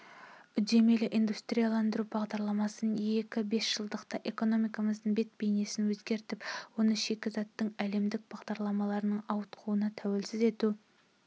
үдемелі индустрияландыру бағдарламасында екі бесжылдықта экономикамыздың бет-бейнеін өзгертіп оны шикізаттың әлемдік бағаларының ауытқуына тәуелсіз ету